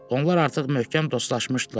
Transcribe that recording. Onlar artıq möhkəm dostlaşmışdılar.